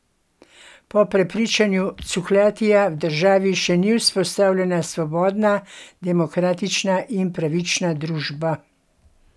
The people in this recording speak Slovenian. Po prepričanju Cukjatija v državi še ni vzpostavljena svobodna, demokratična in pravična družba.